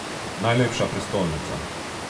Najlepša prestolnica.